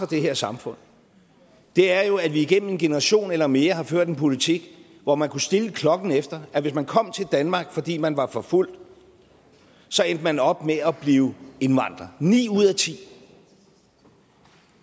det her samfund er jo at vi igennem en generation eller mere har ført en politik hvor man kunne stille klokken efter at hvis man kom til danmark fordi man var forfulgt så endte man op med at blive indvandrer ni ud af ti